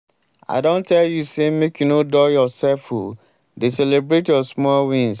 i don tell you say make you no dull yourself o dey celebrate your small wins.